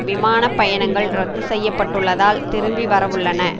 விமான பயணங்கள் இரத்து செய்யப்பட்டுள்ளதால் திரும்பி வரவுள்ளன